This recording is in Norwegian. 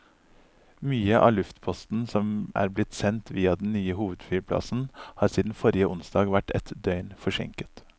Mye av luftposten som er blitt sendt via den nye hovedflyplassen har siden forrige onsdag vært ett døgn forsinket.